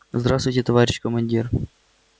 здравствуйте товарищ командир